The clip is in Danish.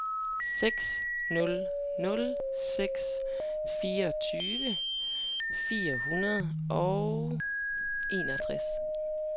seks nul nul seks fireogtyve fire hundrede og enogtres